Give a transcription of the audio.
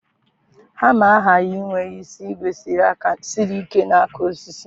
Hama aghaghị inwe isi ígwè siri ike na aka osisi